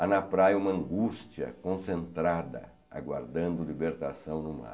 Há na praia uma angústia concentrada, aguardando libertação no mar.